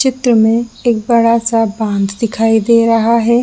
चित्र में एक बड़ा सा बाँध दिखाई दे रहा है।